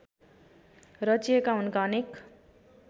रचिएका उनका अनेक